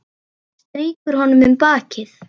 Strýkur honum um bakið.